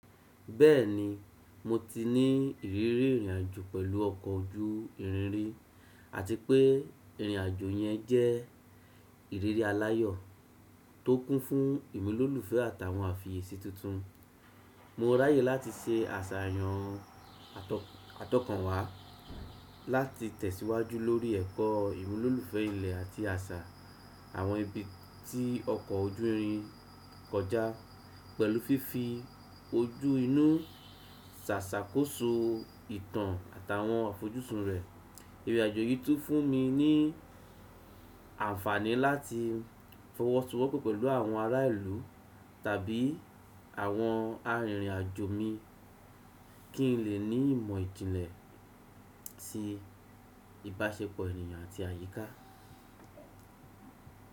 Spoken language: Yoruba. Bẹ́ẹ̀ni, mo ti ní ìrírí ìrìnàjò pẹ̀lú ọkọ̀ ojú irin rí àti pé ìrìnàjò yẹn jẹ́ ìrírí aláyọ̀ tó kún fún ìmúlòlúfẹ́ àtàwọn àfiyèsí tuntun. Mo ráyè láti se àsàyàn atọ̀kan wá láti tẹ̀síwájú lórí ẹ̀kọ́ ìmúlòlúfẹ́ ilẹ̀ àti àṣà àwọn ibi tí ọkọ̀ ojú irin kọjá pẹ̀lú fífi ojú inú ṣàṣàkóso ìtàn àtàwọn àfojúsùn rẹ̀. Ìrìnàjò yìí tún fún mi ní àǹfààní láti fọwọ́sowọ́pọ́ pẹ̀lú àwọn ará ìlú tàbí àwọn arìnrìnàjò mi kí n lè ní ìmọ̀ ìjìnlẹ̀ ti ìbáṣepọ̀ ènìyàn àti àyíká.